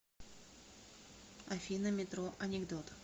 афина метро анекдот